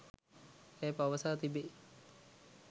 ඇය පවසා තිබේ.